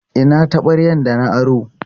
Ina taɓaryar da na aro?